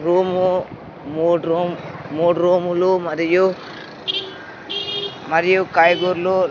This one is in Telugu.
రూము మూడ్ రూమ్ మూడ్ రూములు మరియు మరియు కాయగూర్లు--